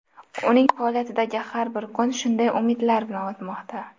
Uning faoliyatidagi har bir kun shunday umidlar bilan o‘tmoqda.